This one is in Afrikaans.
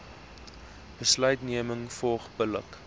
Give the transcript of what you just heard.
besluitneming volg billik